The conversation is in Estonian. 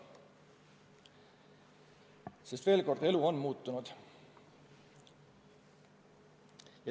Sest veel kord: elu on muutunud.